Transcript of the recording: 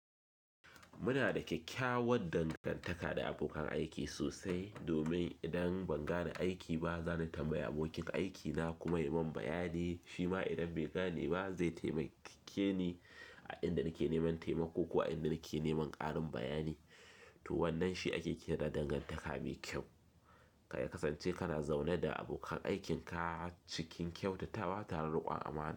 Muna da kyakkyawar dangantaka da abokan aiki sosai domin idan ban gane aiki ba, zan tambayi abokin aikina kuma ya yi min bayani. Shima idan bai gane ba zai taimake ni a inda nake neman taimako ko a inda nake neman ƙarin bayani. To wannan shi ake kira dangantaka mai kyau. Ya kasance kana zaune da abokan aikinka cikin kyautatawa tare da riƙon amana.